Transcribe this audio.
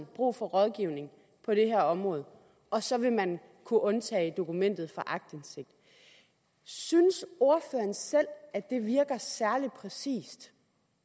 brug for rådgivning på det her område og så vil man kunne undtage dokumentet fra aktindsigt synes ordføreren selv at det virker særlig præcist